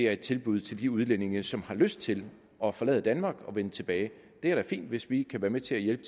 er et tilbud til de udlændinge som har lyst til at forlade danmark og vende tilbage det er da fint hvis vi kan være med til at hjælpe